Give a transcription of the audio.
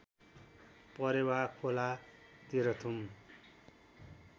परेवा खोला तेह्रथुम